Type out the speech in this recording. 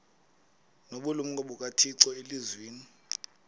nobulumko bukathixo elizwini